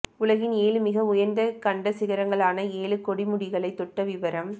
உலகின் ஏழு மிக உயர்ந்த கண்டச் சிகரங்களான ஏழு கொடுமுடிகளை தொட்ட விவரம்